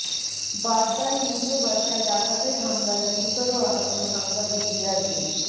বাড্ডায় নিজ বাসায় ডাকাতের হামলায় গুরুতর আহত সাংবাদিক রিয়াজুল